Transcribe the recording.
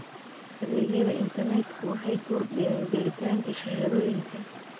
Adeegyada internetku waxay kordhiyaan gelitaanka shahaadooyinka.